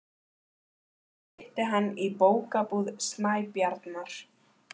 Ég hitti hann í Bókabúð Snæbjarnar.